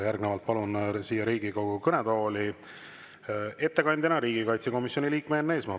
Järgnevalt palun siia Riigikogu kõnetooli ettekandjana riigikaitsekomisjoni liikme Enn Eesmaa.